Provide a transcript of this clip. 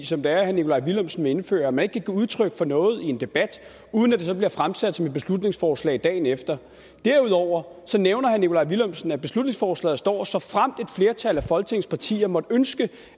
som herre nikolaj villumsen vil indføre at man ikke kan give udtryk for noget i en debat uden at det så bliver fremsat som et beslutningsforslag dagen efter derudover nævner herre nikolaj villumsen at beslutningsforslaget står såfremt et flertal af folketingets partier måtte ønske